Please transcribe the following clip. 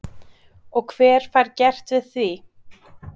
Og hver fær gert við því?